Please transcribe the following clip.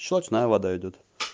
щелочная вода идёт